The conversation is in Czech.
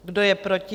Kdo je proti?